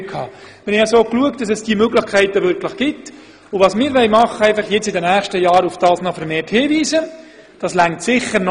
Wir haben also dafür gesorgt, dass auch solche Möglichkeiten vorhanden sind, und in den nächsten Jahren wollen wir vermehrt darauf hinweisen.